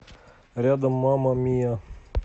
рядом мама мия